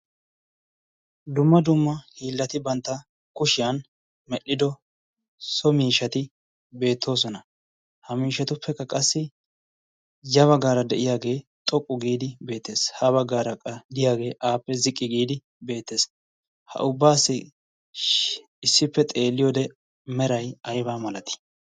dumma dumma hiillati bantta kushiyan medhdhido so miishati beettoosona. ha miishatuppekka qassi yaba gaara de'iyaagee xoqqu giidi beetees. haba gaara diyaagee aappe ziqqi giidi beettees. ha ubbaassi issippe xeelliyoode mera aybaa malati?